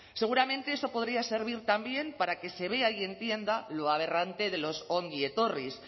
seguramente eso podría servir también para que se vea y entienda lo aberrante de los ongietorris